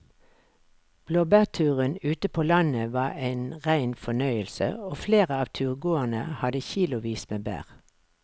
Blåbærturen ute på landet var en rein fornøyelse og flere av turgåerene hadde kilosvis med bær.